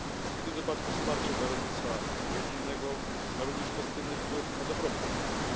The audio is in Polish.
W tym wypadku wsparcie dla rolnictwa rodzinnego ma również pozytywny wpływ na dobrobyt ludności.